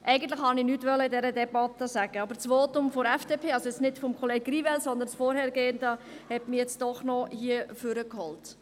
Eigentlich wollte ich in dieser Debatte nichts sagen, aber das Votum der FDP, also nicht dasjenige von Kollege Grivel, sondern das vorangegangene, hat mich doch noch ans Pult geholt.